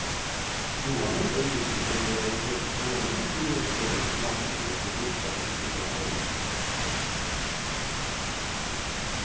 Johan undrar givetvis om det är helt i sin ordning att bjuda ut en produkt på marknaden med så bristfällig information.